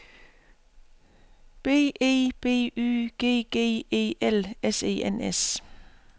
B E B Y G G E L S E N S